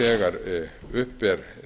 þegar upp er